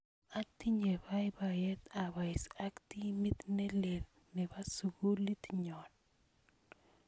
Atinye poipoyet apois ak timit ne lel ne po sukulit nyo.